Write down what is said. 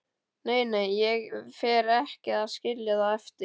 Nei, nei, ég fer ekki að skilja það eftir.